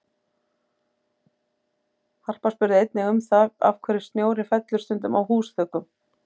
Harpa spurði einnig um það af hverju snjórinn fellur stundum af húsþökum?